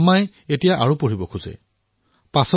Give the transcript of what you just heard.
আম্মাই এতিয়া আগলৈ পঢ়িব বিচাৰে